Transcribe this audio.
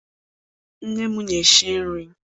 Nne m na-esi nri.